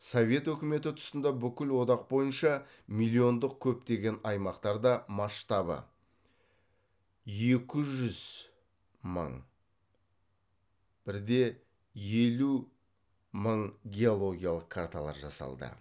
совет өкіметі тұсында бүкіл одақ бойынша миллиондық көптеген аймақтарда масштабы екі жүз мың бір де елу мың геологиялық карталар жасалды